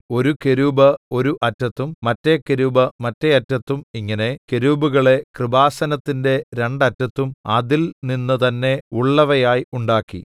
ഒരു കെരൂബ് ഒരു അറ്റത്തും മറ്റെ കെരൂബ് മറ്റെ അറ്റത്തും ഇങ്ങനെ കെരൂബുകളെ കൃപാസനത്തിന്റെ രണ്ട് അറ്റത്തും അതിൽനിന്ന് തന്നെ ഉള്ളവയായി ഉണ്ടാക്കി